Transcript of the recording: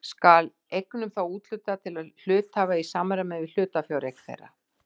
Skal eignum þá úthlutað til hluthafa í samræmi við hlutafjáreign þeirra.